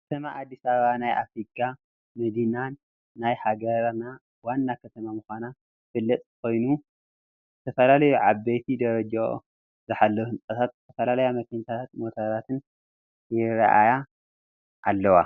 ከተማ ኣዲስ ኣበባ ናይ ኣፍሪካ መዲናን ናይ ሃገሪና ዋና ከተማን ምኳና ዝፈልጥ ኮይኒ ዘተፈላለዩ ዓበይቲ ደረጃኦ ዝሓለዉ ህንፃታት ዝተፈላለያ መኪናታትን ሞተራትን ይራ ኣያ ኣለዋ::